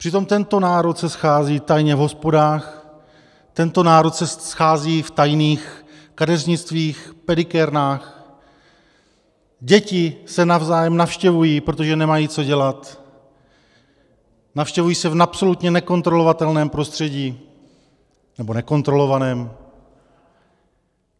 Přitom tento národ se schází tajně v hospodách, tento národ se schází v tajných kadeřnictvích, pedikérnách, děti se navzájem navštěvují, protože nemají co dělat, navštěvují se v absolutně nekontrolovatelném prostředí, nebo nekontrolovaném.